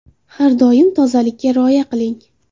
Har doim tozalikka rioya qiling.